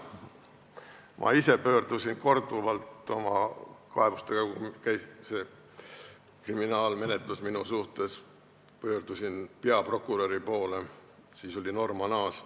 Ma ise pöördusin korduvalt oma kaebustega – käis kriminaalmenetlus minu suhtes – peaprokuröri poole, kelleks oli Norman Aas.